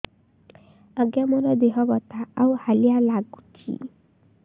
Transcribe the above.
ଆଜ୍ଞା ମୋର ଦେହ ବଥା ଆଉ ହାଲିଆ ଲାଗୁଚି